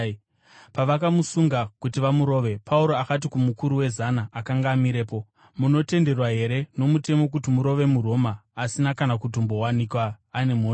Pavakamusunga kuti vamurove, Pauro akati kumukuru wezana akanga amirepo, “Munotenderwa here nomutemo kuti murove muRoma, asina kana kutombowanikwa ane mhosva?”